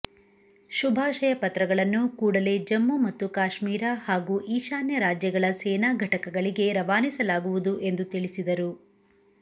ಶುಭಾಶಯ ಪತ್ರಗಳನ್ನು ಕೂಡಲೇ ಜಮ್ಮು ಮತ್ತು ಕಾಶ್ಮೀರ ಹಾಗೂ ಈಶಾನ್ಯ ರಾಜ್ಯಗಳ ಸೇನಾ ಘಟಕಗಳಿಗೆ ರವಾನಿಸಲಾಗುವುದು ಎಂದು ತಿಳಿಸಿದರು